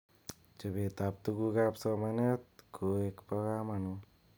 Chobet ab tukuk ab somanet koek bo kamanut.